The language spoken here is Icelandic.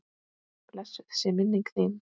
Blessuð sé minning þín.